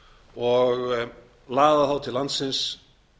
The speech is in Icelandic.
og laða þá til landsins